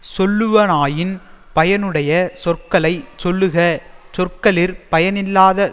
சொல்லுவனாயின் பயனுடைய சொற்களை சொல்லுக சொற்களிற் பயனில்லாத